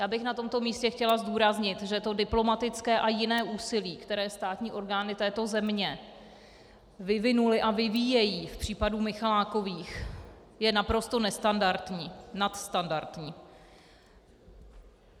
Já bych na tomto místě chtěla zdůraznit, že to diplomatické a jiné úsilí, které státní orgány této země vyvinuly a vyvíjejí v případě Michalákových, je naprosto nestandardní, nadstandardní.